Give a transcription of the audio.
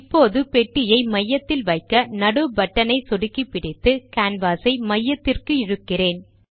இப்பொழுது பெட்டியை மையத்தில் வைக்க நடு பட்டன் ஐ சொடுக்கிப்பிடித்து கேன்வாஸ் ஐ மையத்திற்கு இழுக்கிறேன்